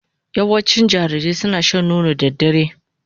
Yawancin jarirai suna shan nono da dare